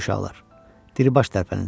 Gedək uşaqlar, diribaş tərpənin.